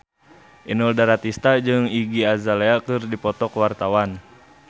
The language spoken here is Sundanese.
Inul Daratista jeung Iggy Azalea keur dipoto ku wartawan